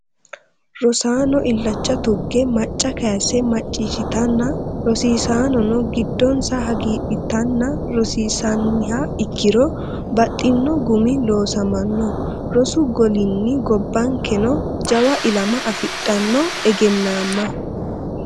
Rosaano illacha tuge macca kayise macciishshittanna rosiisanono giddonsa hagiidhittanna rosiisaniha ikkiro baxxino gumi loosamano rosu golinni gobbankeno jawa ilama afidhano egennamma.